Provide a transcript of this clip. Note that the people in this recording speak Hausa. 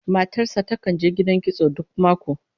Matar sa takan je gidan kitso duk mako